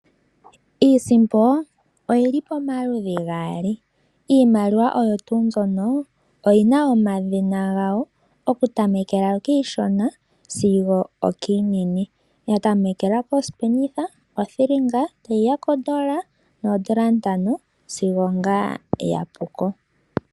Iisimpo oyili pomaludhi gaali. Iimaliwa oyo tuu mbyono oyi na omadhina gawo okutamekela kiishona sigo okiinene. Ya tamekela posipenitha, othilinga, tayi ya kondola noondola ntano sigo ngaa ya pu ko.